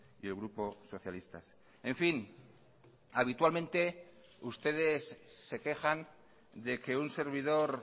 y el grupo socialistas en fin habitualmente ustedes se quejan de que un servidor